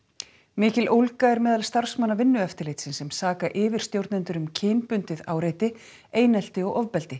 mikil ólga er meðal starfsmanna Vinnueftirlitsins sem saka yfirstjórnendur um kynbundið áreiti einelti og ofbeldi